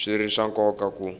swi ri swa nkoka ku